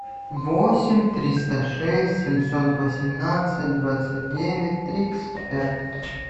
восемь триста шесть семьсот восемнадцать двадцать девять тридцать пять